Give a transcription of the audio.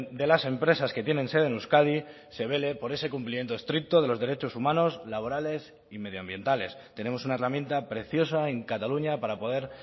de las empresas que tienen sede en euskadi se vele por ese cumplimiento estricto de los derechos humanos laborales y medio ambientales tenemos una herramienta preciosa en cataluña para poder